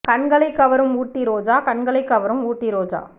கண்களை கவரும் ஊட்டி ரோஜா கண்களை கவரும் ஊட்டி ரோஜா